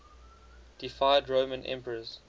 deified roman emperors